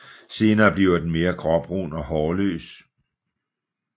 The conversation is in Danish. Senere bliver den mere gråbrun og hårløs